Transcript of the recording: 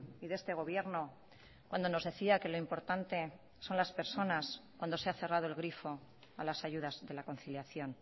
y de este gobierno cuando nos decía que lo importante son laspersonas cuando se ha cerrado el grifo a las ayudas de la conciliación